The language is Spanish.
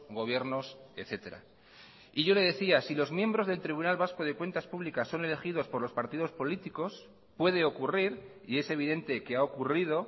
gobiernos etcétera y yo le decía si los miembros del tribunal vasco de cuentas públicas son elegidos por los partidos políticos puede ocurrir y es evidente que ha ocurrido